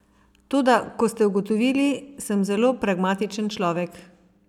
Toda kot ste ugotovili, sem zelo pragmatičen človek.